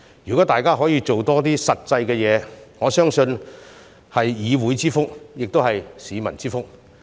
如果大家可以多做一些實際工作，我相信是議會之福，也是市民之福。